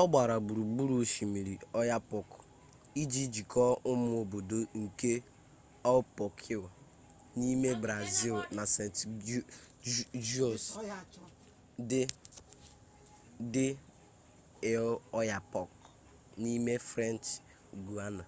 ọ gbara gburugburu osimiri oyapock iji jikọọ ụmụ obodo nke oiapoque n'ime brazịl na saint-georges de l'oyapock n'ime french guiana